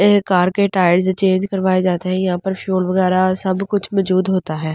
ऐ car के tyres change करवाए जाते है यहाँ पर फ्यूल वगैरा सब कुछ मजूद होता है।